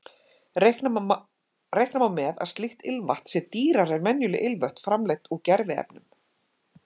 Reikna má með að slíkt ilmvatn sé dýrara en venjuleg ilmvötn framleidd úr gerviefnum.